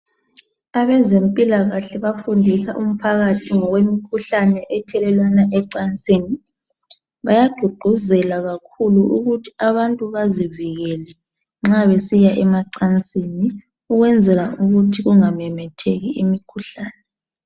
Abezimpilakahle bafundisa umphakathi ngokwemikhuhlane ethelelwana ecansini. Bayagqugquzela kakhulu ukuthi abantu bazivikele nxa besiya emacansini, ukwenzela ukuthi kungamemetheki imikhuhlane